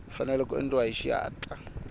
fanele ku endliwa hi xihatla